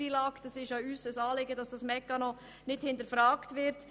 Es ist auch unser Anliegen, dass der Mechanismus des FILAG nicht hinterfragt wird.